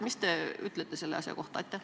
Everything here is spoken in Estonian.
Mis te ütlete selle kohta?